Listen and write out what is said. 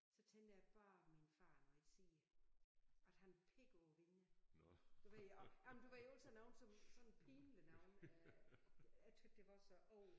Så tænkte jeg bare min far nu ikke siger at han pegge på vinduet. Du ved og jamen du ved alt sådan noget som sådan pinligt noget øh jeg tys det var så åh